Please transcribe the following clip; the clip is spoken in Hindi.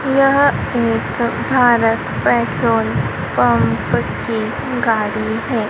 यह एक भारत पेट्रोल पंप की गाड़ी है।